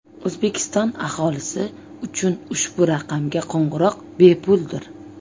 O‘zbekiston aholisi uchun ushbu raqamga qo‘ng‘iroq bepuldir!